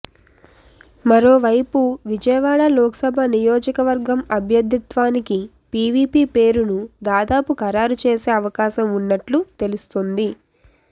మరోవైపు విజయవాడ లోక్సభ నియోజకవర్గం అభ్యర్థిత్వానికి పివిపి పేరును దాదాపు ఖరారు చేసే అవకాశం ఉన్నట్లు తెలుస్తుంది